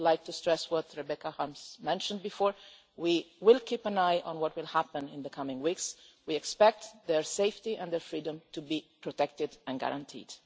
I would like to stress as Rebecca Harms mentioned earlier that we will keep an eye on what happens in the coming weeks. We expect their safety and freedom to be protected and guaranteed.